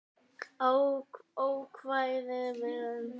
Ókvæða við